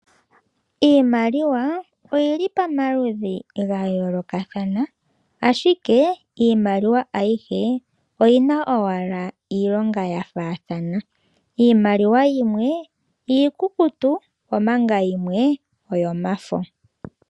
Iimaliwa oyi li pamaludhi ga yoolokathana, ashike iimaliwa ayihe oyi na owala iilonga ya faathana. Iimaliwa yimwe iikukutu, omanga yimwe oyomafo.